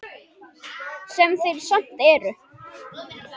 Sem þeir samt eru.